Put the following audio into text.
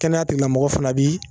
Kɛnɛya tigilamɔfɔ fana bi